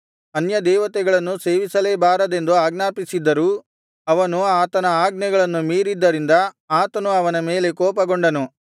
ಅನ್ಯದೇವತೆಗಳನ್ನು ಸೇವಿಸಲೇ ಬಾರದೆಂದು ಆಜ್ಞಾಪಿಸಿದ್ದರೂ ಅವನು ಆತನ ಆಜ್ಞೆಗಳನ್ನು ಮೀರಿದ್ದರಿಂದ ಆತನು ಅವನ ಮೇಲೆ ಕೋಪಗೊಂಡನು